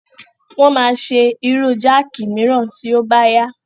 Wọ́n máa ṣe irú jáàkì mìíràn tí ó bá yá.